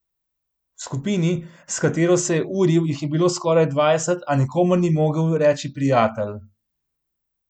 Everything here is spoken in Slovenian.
V skupini, s katero se je uril, jih je bilo skoraj dvajset, a nikomur ni mogel reči prijatelj.